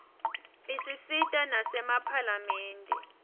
isisita nasemaphalamende